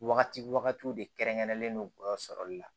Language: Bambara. Wagati wagatiw de kɛrɛnkɛrɛnlen no gɔlɔ sɔrɔli la